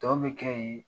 Tɔ bɛ kɛ yen